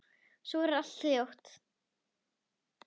Svo verður allt hljótt.